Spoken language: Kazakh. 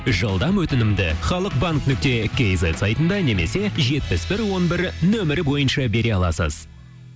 жылдам өтінімді халық банк нүкте кейзет сайтында немесе жетпіс бір он бір нөмірі бойынша бере аласыз